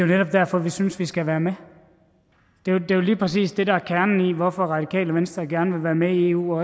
netop derfor vi synes vi skal være med det er jo lige præcis det der er kernen i hvorfor radikale venstre gerne vil være med i eu og